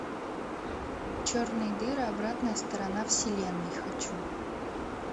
черные дыры обратная сторона вселенной хочу